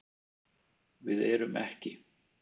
Við erum ekki.